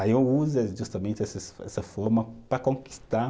Aí eu uso justamente essas, essa forma para conquistar.